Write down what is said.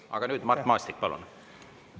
Aga nüüd, Mart Maastik, palun!